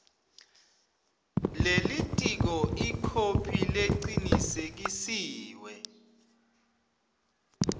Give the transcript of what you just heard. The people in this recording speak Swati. lelitiko ikhophi lecinisekisiwe